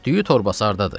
düyü torbası hardadır?